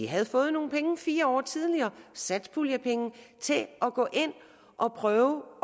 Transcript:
havde fået nogle penge fire år tidligere satspuljepenge til at gå ind og prøve